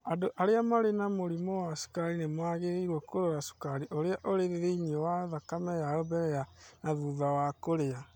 Andũ arĩa marĩ na mũrimũ wa cukari nĩ magĩrĩirũo kũrora cukari ũrĩa ũrĩ thĩinĩ wa thakame yao mbere na thutha wa kũrĩa.